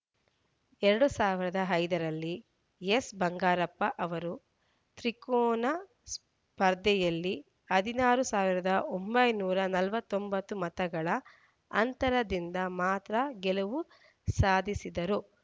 ಎರಡ್ ಸಾವಿರದ ಐದ ರಲ್ಲಿ ಎಸ್‌ ಬಂಗಾರಪ್ಪ ಅವರು ತ್ರಿಕೋನ ಸ್ಪರ್ಧೆಯಲ್ಲಿ ಹದಿನಾರುಸಾವಿರದ ಒಂಬೈನೂರ ನಲವತ್ತ್ ಒಂಬತ್ತು ಮತಗಳ ಅಂತರದಿಂದ ಮಾತ್ರ ಗೆಲುವು ಸಾಧಿಸಿದ್ದರು